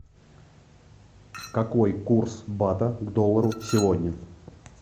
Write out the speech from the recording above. какой курс бата к доллару сегодня